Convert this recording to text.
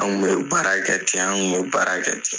Anw kun ye o baara kɛ ten an kun y'o baara kɛ ten.